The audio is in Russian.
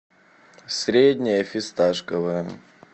среднее фисташковое